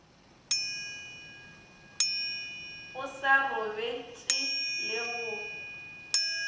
o sa robetše le go